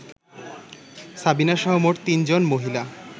সাবিনাসহ মোট তিনজন মহিলা